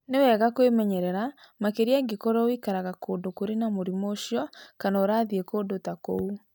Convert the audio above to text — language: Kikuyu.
Nĩ wega kwĩmenyerera, makĩria angĩkorũo ũikaraga kũndũ kũrĩ na mũrimũ ũcio kana ũrathiĩ kũndũ ta kũu.